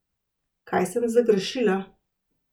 Kaj sem zagrešila?